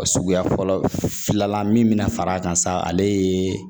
Suguya fɔlɔ fila la min bɛna far'a kan sa ale ye